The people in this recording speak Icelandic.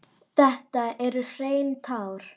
Þetta eru hrein tár.